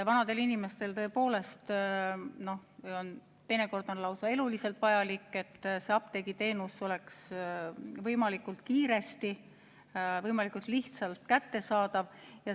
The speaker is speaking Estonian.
Vanadele inimestele on teinekord lausa eluliselt vajalik, et apteegiteenus oleks võimalikult kiiresti, võimalikult lihtsalt kättesaadav.